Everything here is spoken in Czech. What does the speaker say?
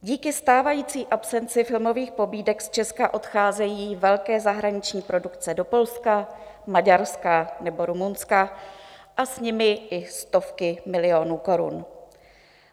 Díky stávající absenci filmových pobídek z Česka odcházejí velké zahraniční produkce do Polska, Maďarska nebo Rumunska a s nimi i stovky milionů korun.